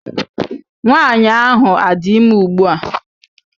Nwaanyị ahụ adị ime ụgbua?